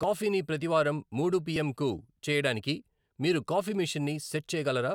Coffee ని ప్రతివారం మూడు పి. ఎం. కు చేయడానికి మీరు కాఫీ మెషిన్ ని సెట్ చేయగలరా